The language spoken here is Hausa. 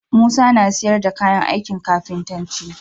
Musa na siyar da kayan ankin kafintanci